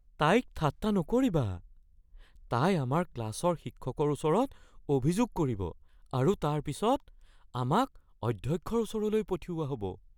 তাইক ঠাট্টা নকৰিবা। তাই আমাৰ ক্লাচৰ শিক্ষকৰ ওচৰত অভিযোগ কৰিব আৰু তাৰ পিছত আমাক অধ্যক্ষৰ ওচৰলৈ পঠিওৱা হ'ব।